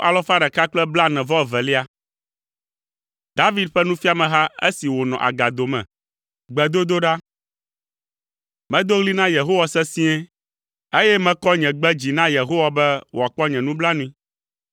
David ƒe nufiameha esi wònɔ agado me. Gbedodoɖa. Medo ɣli na Yehowa sesĩe, eye mekɔ nye gbe dzi na Yehowa be wòakpɔ nye nublanui.